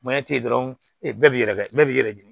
dɔrɔn e bɛɛ b'i yɛrɛ kɛ bɛɛ b'i yɛrɛ ɲini